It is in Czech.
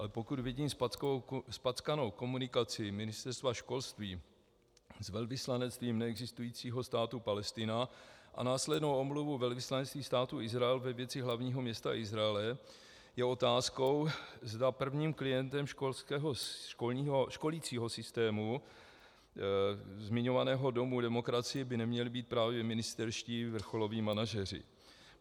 Ale pokud vidím zpackanou komunikaci Ministerstva školství s velvyslanectvím neexistujícího státu Palestina a následnou omluvu velvyslanectví Státu Izrael ve věci hlavního města Izraele, je otázkou, zda prvním klientem školicího systému zmiňovaného Domu demokracie by neměli být právě ministerští vrcholoví manažeři.